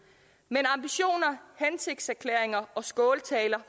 men ambitioner hensigtserklæringer og skåltaler